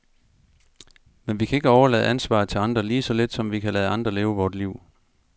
Men vi kan ikke overlade ansvaret til andre, lige så lidt som vi kan lade andre leve vort liv.